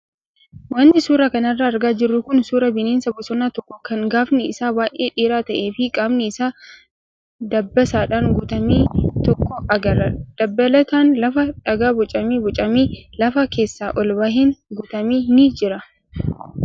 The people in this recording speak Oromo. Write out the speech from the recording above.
Wanti suuraa kanarraa argaa jirru kun suuraa bineensa bosonaa tokko kan gaafni isaa baay'ee dheeraa ta'ee fi qaamni isaa dabbasaadhaan guutame tokko agarra. Dabalataan lafa dhagaa bocamee bocamee lafa keessaa ol baheen guutame ni jira.